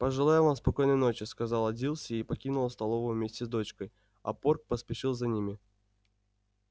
пожелаю вам спокойной ночи сказала дилси и покинула столовую вместе с дочкой а порк поспешил за ними